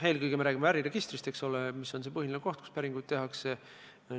Eelkõige räägime me äriregistrist, eks ole, mis on põhiline koht, kus päringuid tehakse.